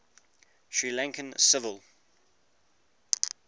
sri lankan civil